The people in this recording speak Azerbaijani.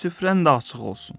Süfrən də açıq olsun.